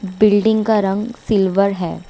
Building का रंग silver है।